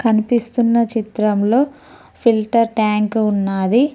కనిపిస్తున్న చిత్రంలో filter tank ఉన్నాది.